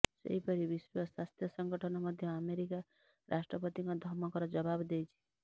ସେହିପରି ବିଶ୍ୱ ସ୍ୱାସ୍ଥ୍ୟ ସଂଗଠନ ମଧ୍ୟ ଆମେରିକା ରାଷ୍ଟ୍ରପତିଙ୍କ ଧମକର ଜବାବ ଦେଇଛି